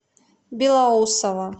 белоусово